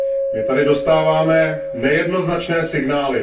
My tady dostáváme nejednoznačné signály.